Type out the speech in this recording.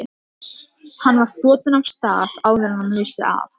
Hann var þotinn af stað áður en hann vissi af.